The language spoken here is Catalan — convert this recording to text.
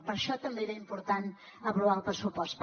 per això també era important aprovar el pressupost